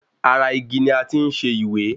Ara igi ni a ti ń ṣẹ ìwé.